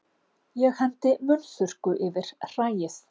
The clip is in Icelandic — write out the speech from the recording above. Ég hendi munnþurrku yfir hræið.